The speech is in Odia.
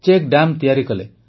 ଚେକ୍ ଡ୍ୟାମ୍ ତିଆରି କଲେ